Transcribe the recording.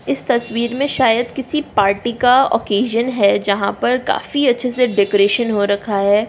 इस तस्वीर में शायद किसी पार्टी का ऑकशनं है जहाँ पर काफी अच्छे से डेकोरेशन हो रखा है।